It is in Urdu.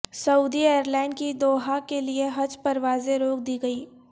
سعودی ایئرلائن کی دوحہ کے لیے حج پروازیں روک دی گئیں